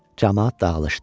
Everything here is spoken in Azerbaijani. Camaat dağılışdı.